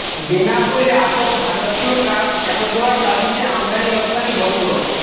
বেনাপোলে আটক ভারতীয় ট্রাক ফেরত দেওয়ার দাবিতে আমদানি রফতানি বন্ধ